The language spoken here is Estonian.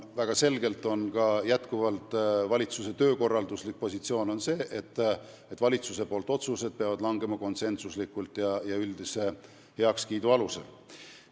Samas kehtib endiselt valitsuse töökorralduslik põhimõte, et valitsuse otsused tuleb langetada konsensusega ja üldise heakskiidu alusel.